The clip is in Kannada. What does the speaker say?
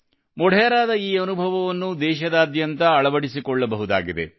ಮೊಢೆರಾದ ಈ ಅನುಭವವನ್ನು ದೇಶದಾದ್ಯಂತ ಅಳವಡಿಸಿಕೊಳ್ಳಬಹುದಾಗಿದೆ